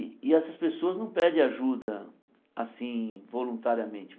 E e essas pessoas não pedem ajuda assim, voluntariamente.